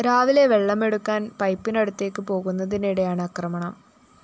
രാവിലെ വെള്ളമെടുക്കാന്‍ പൈപ്പിനടുത്തേക്ക് പോകുന്നതിനിടെയാണ് ആക്രമണം